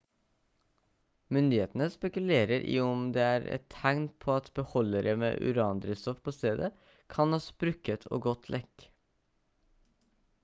myndighetene spekulerer i om det er et tegn på at beholdere med urandrivstoff på stedet kan ha sprukket og gått lekk